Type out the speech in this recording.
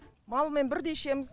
малмен бірдей ішеміз